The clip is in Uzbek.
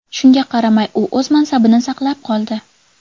Shunga qaramay, u o‘z mansabini saqlab qoldi.